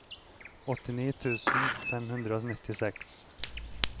åttini tusen fem hundre og nittiseks